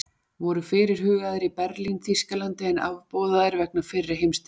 Voru fyrirhugaðir í Berlín, Þýskalandi, en afboðaðir vegna fyrri heimsstyrjaldar.